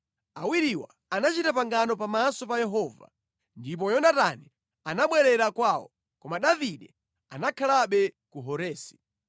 Awiriwa anachita pangano pamaso pa Yehova. Ndipo Yonatani anabwerera kwawo, koma Davide anakhalabe ku Horesi.